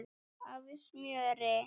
af smjöri.